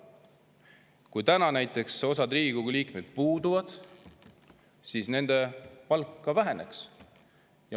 Kui täna näiteks osa Riigikogu liikmeid puudub, siis nende palk väheneks.